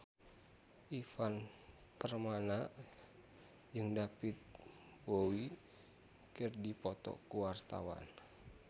Ivan Permana jeung David Bowie keur dipoto ku wartawan